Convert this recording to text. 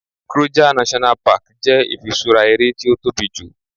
Kruger National Park jẹ ifisura eré ti o tóbi ju